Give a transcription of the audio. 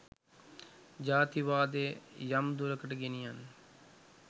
ජාතිවාදය යම් දුරකට ගෙනියන්න